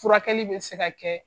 Furakɛli bɛ se ka kɛ